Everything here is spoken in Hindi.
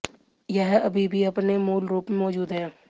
यह अभी भी अपने मूल रूप में मौजूद है